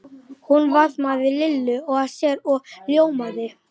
Hún faðmaði Lillu að sér og ljómaði.